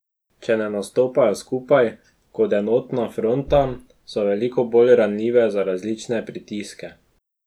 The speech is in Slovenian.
Če ne nastopajo skupaj, kot enotna fronta, so veliko bolj ranljive za različne pritiske.